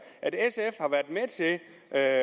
at